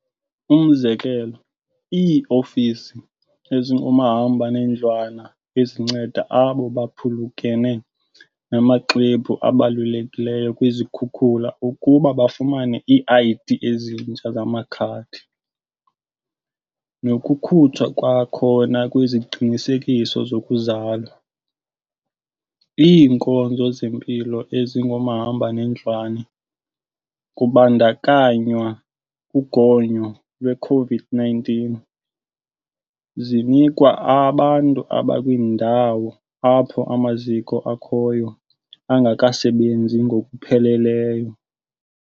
Umzekelo, ii-ofisi ezingomahamba nendlwana ezinceda abo baphulukene namaxwebhu abalulekileyo kwizikhukula ukuba bafumane ii-ID ezintsha zamakhadi, nokukhutshwa kwakhona kweziqinisekiso zokuzalwa. Iinkonzo zempilo ezingomahamba nendlwana, kubandakanywa ugonyo lwe-COVID-19, zinikwa abantu abakwiindawo apho amaziko akhoyo angekasebenzi ngokupheleleyo.